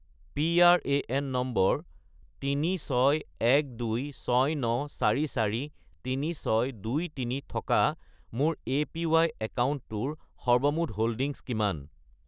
PRAN number 361269443623 থকা মোৰ APY একাউণ্টটোৰ সৰ্বমুঠ হোল্ডিংছ কিমান?